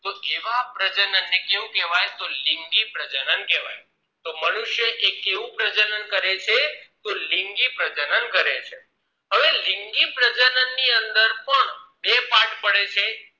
તો એવા પ્રજનન ને કેવું કેહવાય લિંગી પ્રજનન કહેવાય તો મનુષ્ય એ કેવું પ્રજનન કરે છે તો લિંગી પ્રજનન કરે છે હવે લિંગી પ્રજનન ની અંદર પણ બે part પડે છે